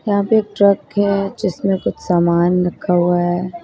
यहां पे एक ट्रक है जिसमें कुछ सामान रखा हुआ है।